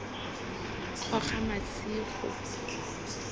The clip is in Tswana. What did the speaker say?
kgogamasigo